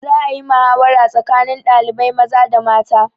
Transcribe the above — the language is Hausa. Za a yi mahawara tsakanin ɗalibai maza da mata.